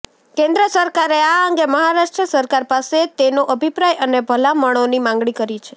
કેન્દ્ર સરકારે આ અંગે મહારાષ્ટ્ર સરકાર પાસે તેનો અભિપ્રાય અને ભલામણોની માંગણી કરી છે